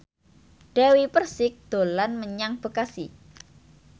Dewi Persik dolan menyang Bekasi